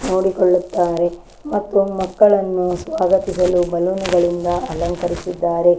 ನೋಡಿ ಕೊಳ್ಳುತ್ತಾರೆ ಮತ್ತು ಮಕ್ಕಳನ್ನು ಸ್ವಾಗತಿಸಲು ಬಲೂನ್ ಗಳಿಂದ ಅಲಂಕರಿಸಿದ್ದಾರೆ.